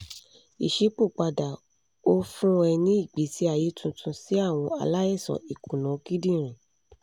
iṣipopada o fun e ni igbesi aye tuntun si awọn alaisan ikuna kidinrin